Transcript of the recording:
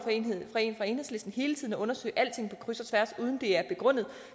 for enhedslisten hele tiden at undersøge alting på kryds og tværs uden at det er begrundet